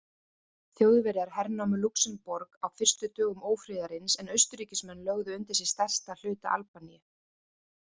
Þjóðverjar hernámu Lúxemborg á fyrstu dögum ófriðarins en Austurríkismenn lögðu undir sig stærsta hluta Albaníu.